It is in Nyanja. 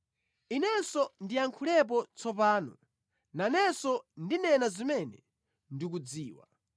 Inenso ndiyankhulapo tsopano; nanenso ndinena zimene ndikudziwa.